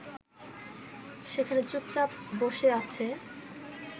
সেখানে চুপচাপ বসে আছে